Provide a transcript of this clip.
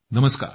नमस्कार